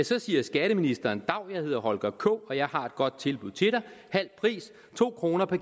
så siger skatteministeren dav jeg hedder holger k og jeg har et godt tilbud til dig halv pris to kroner per